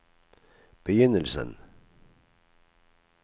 begynnelsen